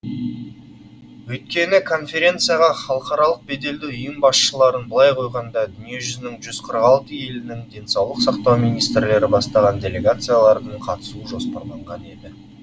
өйткені конференцияға халықаралық беделді ұйым басшыларын былай қойғанда дүние жүзінің жүз қырық алты елінің денсаулық сақтау министрлері бастаған делегациялардың қатысуы жоспарланған еді